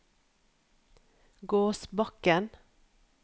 Gåsbakken